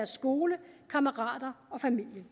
skole kammerater og familie vi